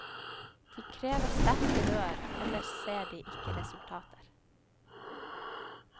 De krever sterke rør, ellers ser de ikke resultater.